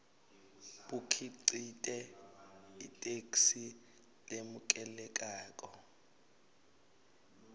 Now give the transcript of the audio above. bukhicite itheksthi lemukelekako